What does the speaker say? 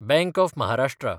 bank of Maharashtra